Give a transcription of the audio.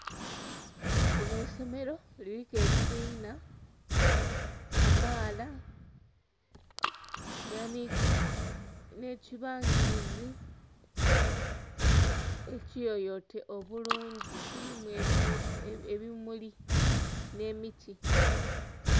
Linho isomero, liriku ebibinha kamaala lirinha nekibangilizi ekiyoyote obulungi, kilimu ebimuli nhe miti.